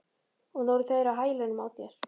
Og nú eru þeir á hælunum á þér